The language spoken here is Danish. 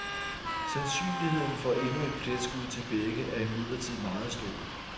Sandsynligheden for endnu et pletskud til begge er imidlertid meget stor.